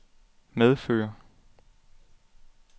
medføre